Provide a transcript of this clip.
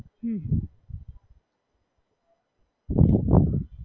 હમ